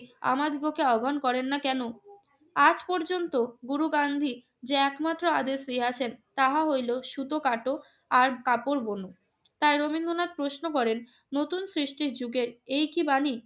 আমাদিগকে আহবান করেন না কেন? আজ পর্যন্ত গুরু গান্ধী যে একমাত্র আদেশ দিয়াছেন, তাহা হইল সুতো কাটো আর কাপড় বুনো। তাই রবীন্দ্রনাথ প্রশ্ন করেন, নতুন সৃষ্টির যুগের এই কি বাণী?